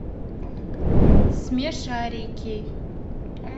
смешарики